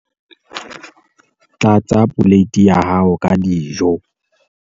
tlatsa poleiti ya hao ka dijo